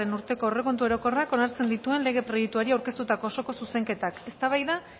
urteko aurrekontu orokorrak onartzen dituen lege proiektuari aurkeztutako osoko zuzenketak eztabaida